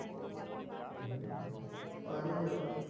পাৰি যাব